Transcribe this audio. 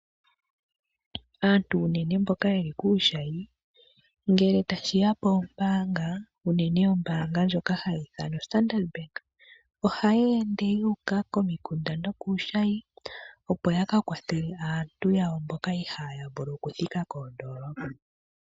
Aantu unene mboka yeli kuushayi, ngele tashi ya poombaanga, unene ombaanga ndjoka hayi ithanwa standard Bank, ohayi ende yuuka komikunda nokuushayi opo yaka kwathele aantu yawo mboka ihaaya vulu okuthika koondolopa.